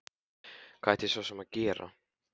Hvað ætti ég svo sem að gera?